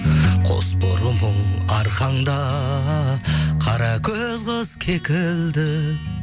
қосбұрымың арқаңда қаракөз қыз кекілді